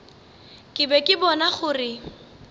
ke be ke bona gore